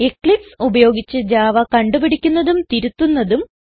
Eclipse ഉപയോഗിച്ച് Java കണ്ട് പിടിക്കുന്നതും തിരുത്തുന്നതും